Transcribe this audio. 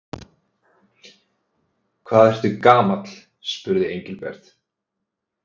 Hvað ertu gamall? spurði Engilbert.